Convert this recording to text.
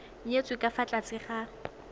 nyetswe ka fa tlase ga